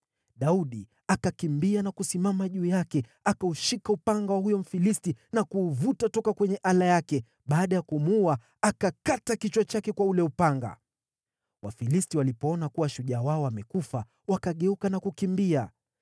Daudi akakimbia na kusimama juu yake. Akaushika upanga wa huyo Mfilisti na kuuvuta toka kwenye ala yake. Baada ya kumuua, akakata kichwa chake kwa ule upanga. Wafilisti walipoona kuwa shujaa wao amekufa, wakageuka na kukimbia.